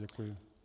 Děkuji.